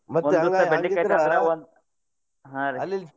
ಹಾ ರೀ.